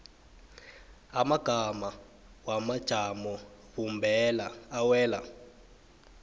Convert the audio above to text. amagama wamajamobumbeko awela